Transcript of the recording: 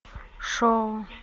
шоу